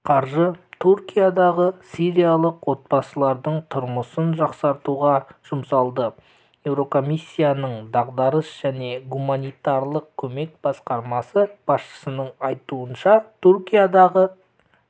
қаржы түркиядағы сириялық отбасылардың тұрмысын жақсартуға жұмсалады еурокомиссияның дағдарыс және гуманитарлық көмек басқармасы басшысының айтуынша түркиядағы